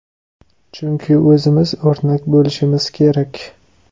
Chunki o‘zimiz o‘rnak bo‘lishimiz kerak.